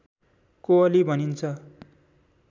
कोअली भनिन्छ